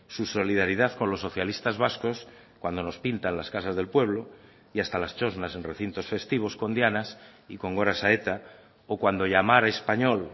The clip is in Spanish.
su solidaridad con los socialistas vascos cuando nos pintan las casas del pueblo y hasta las txosnas en recintos festivos con dianas y con goras a eta o cuando llamar español